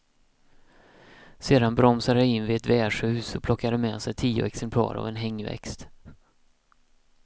Sedan bromsade de in vid ett värdshus och plockade med sig tio exemplar av en hängväxt.